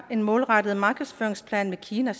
en målrettet markedsføringsplan med kina